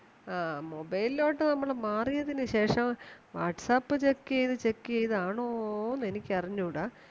ആ mobile ലോട്ട് നമ്മളു മാറിയതിനുശേഷം Whatsappcheck ചെയ്‌തു check ചെയ്‌തു ആണോന്ന് എനിക്കറിഞ്ഞുടാ